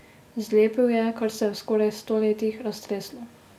Zlepil je, kar se je v skoraj sto letih raztreslo.